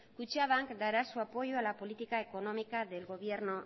kutxabank dará su apoyo a la política económica del gobierno